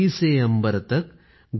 धरती से अम्बर तक